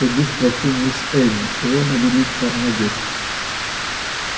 пойду спрошу мисс эллин чего она велит вам надеть